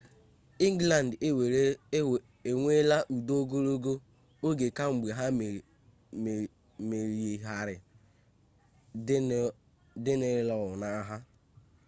england enweela udo ogologo oge kamgbe ha merigharị danelaw n'agha